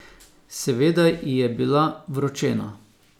Seveda ji je bila vročena.